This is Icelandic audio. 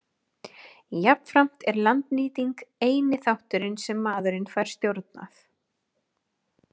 Jafnframt er landnýting eini þátturinn sem maðurinn fær stjórnað.